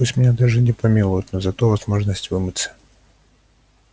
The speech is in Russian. пусть даже меня не помилуют но зато возможность вымыться